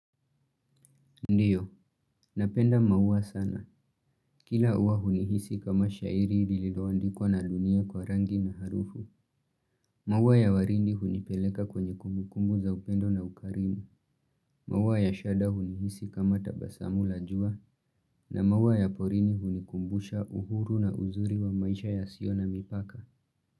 Ndiyo, napenda maua sana. Kila ua hunihisi kama shairi lililoandikwa na dunia kwa rangi na harufu. Maua ya waridi hunipeleka kwenye kumbukumbu za upendo na ukarimu. Maua ya shada hunihisi kama tabasamu la jua. Na maua ya porini hunikumbusha uhuru na uzuri wa maisha yasio na mipaka.